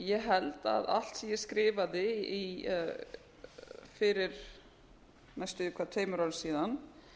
ég held að allt sem ég skrifaði fyrir næstum því tveimur árum síðan